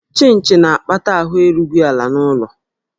Chịnchị na-akpata ahụ erughị ala n'ụlọ